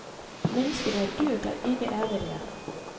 Mennesket er et dyr, der ikke er, hvad det er.